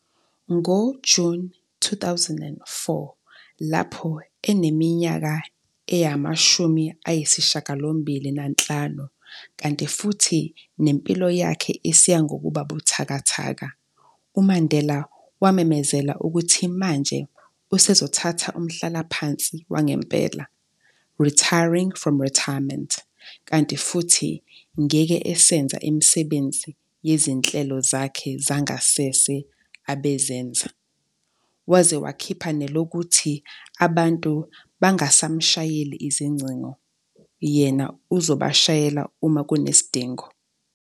NgoJuni 2004, lapho eneminyaka engu 85, kanti futhi nempilo yakhe isiya ngokuba buthakathaka, uMandela wamemezela ukuthi manje, usezothatha umhlalaphansi wangempela, retiring from retirement", kanti futhi ngeke esenza imisebenzi yezinhlelo zakhe zangasese abezenza, waze wakhipha nelokuthi abantu bangasamshayeli izingcingo, yena uzobasheyela uma kunesidingo."